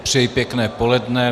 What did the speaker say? Přeji pěkné poledne.